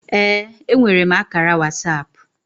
Ee, enwere m ákàrà WhatsApp